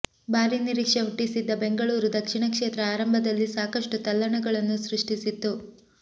ಭಾರೀ ನಿರೀಕ್ಷೆ ಹುಟ್ಟಿಸಿದ್ದ ಬೆಂಗಳೂರು ದಕ್ಷಿಣ ಕ್ಷೇತ್ರ ಆರಂಭದಲ್ಲಿ ಸಾಕಷ್ಟು ತಲ್ಲಣಗಳನ್ನು ಸೃಷ್ಟಿಸಿತ್ತು